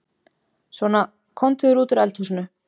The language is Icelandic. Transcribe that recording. Svona, komdu þér út úr eldhúsinu.